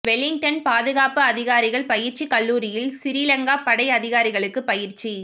Wellington பாதுகாப்பு அதிகாரிகள் பயிற்சிக் கல்லூரியில் சிறிலங்கா படை அதிகாரிகளுக்கு பயிற்சி